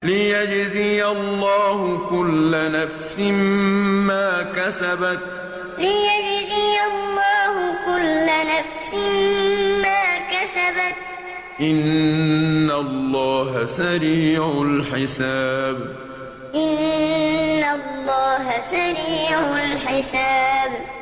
لِيَجْزِيَ اللَّهُ كُلَّ نَفْسٍ مَّا كَسَبَتْ ۚ إِنَّ اللَّهَ سَرِيعُ الْحِسَابِ لِيَجْزِيَ اللَّهُ كُلَّ نَفْسٍ مَّا كَسَبَتْ ۚ إِنَّ اللَّهَ سَرِيعُ الْحِسَابِ